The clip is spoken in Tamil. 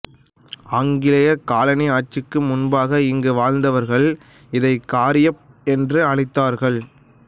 ஆங்கிலேய காலனி ஆட்சிக்கு முன்பாக இங்கு வாழ்ந்தவர்கள் இதை காரியப் என்று அழைத்தார்கள்